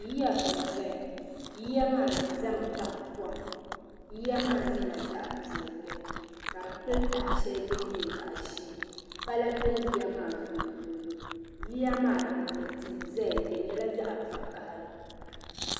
Yiya n zaya yiya maa zami baɣi kom yiya maa nyɛla zaɣi piɛlli ka di pili taha shɛli din nyɛ zaɣi ʒee pala bɛ yiya maa sunsuuni yiya maa luɣuli tihi zaya di nyɛla zaɣi vokahali.